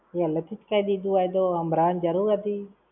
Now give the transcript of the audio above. પહેલેથી જ કઈ દીધું હોય તો, હંભરાવાની જરૂર હતી?